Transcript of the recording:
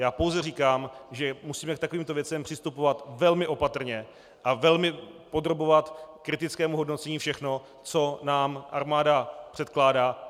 Já pouze říkám, že musíme k takovýmto věcem přistupovat velmi opatrně a velmi podrobovat kritickému hodnocení všechno, co nám armáda předkládá.